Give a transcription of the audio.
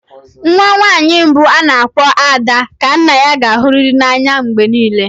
Nwa nwanyị mbụ a na-akpọ "Ada" ka nna ya ga-ahụrịrị n'anya mgbe niile